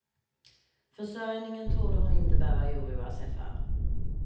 Försörjningen torde hon inte behöva oroa sig för.